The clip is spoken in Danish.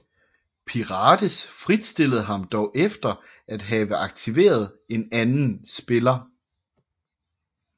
Pirates fritstillede ham dog efter at have have aktiveret en anden spiller